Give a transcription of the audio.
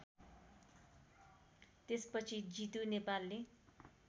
त्यसपछि जितु नेपालले